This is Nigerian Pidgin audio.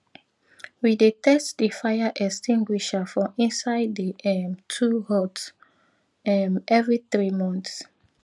we dey test di fire extinguisher for inside di um tool hut um every three month